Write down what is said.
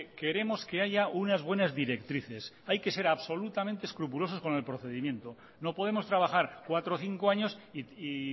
queremos que haya unas buenas directrices hay que ser absolutamente escrupulosos con el procedimiento no podemos trabajar cuatro o cinco años y